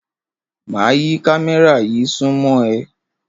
Máa yí kámẹ́rà yí súnmọ́ ẹ.